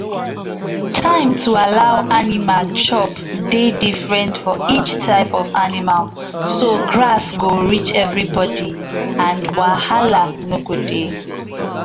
Time to allow animal chop dey different from each type of animal so grass go reach anybody so wahala no go dey